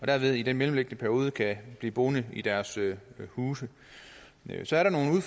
derved i den mellemliggende periode kan blive boende i deres huse så er der nogle